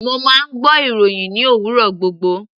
Mo máa ń gbọ́ ìròhìn ní òwúrọ̀ gbogbo.